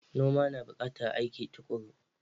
Noma na bukatar aiki tukuru.